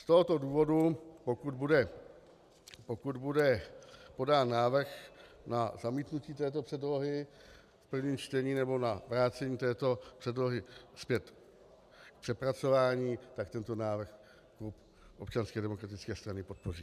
Z tohoto důvodu, pokud bude podán návrh na zamítnutí této předlohy v prvním čtení nebo na vrácení této předlohy zpět k přepracování, tak tento návrh klub Občanské demokratické strany podpoří.